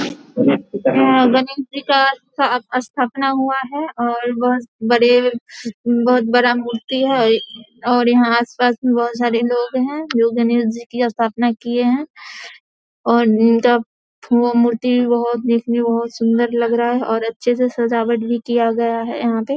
गणेश जी का स्था स्थापना हुआ है और बहुत बड़े बहुत बड़ा मूर्ति है और यहां आस पास मे बहुत सारे लोग हैं जो गणेश जी की स्थापना किए हैं और वो मूर्ति बहुत बड़े सुंदर लग रहे है और बहुत अच्छे से सजावट किए गया है यहां पे |